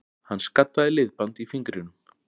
Hann skaddaði liðband í fingrinum